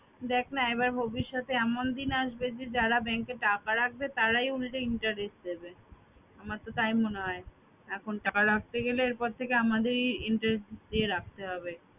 দেখ না এবার ভবিষ্যতে এমন দিন আসবে যে যারা bank এ টাকা রাখতে তারাই উলটে interest দিবে। আমার তো তাই মনে হয় এখন টাকা রাখতে গেলে এরপর থেকে আমাদেরই interest দিয়ে রাখতে হবে